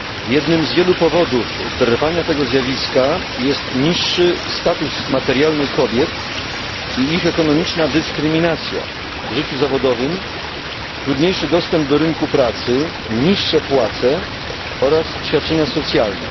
Jednym z wielu powodów trwania tego zjawiska jest niższy status materialny kobiet i ich ekonomiczna dyskryminacja w życiu zawodowym, trudniejszy dostęp do rynku pracy, niższe płace oraz świadczenia socjalne.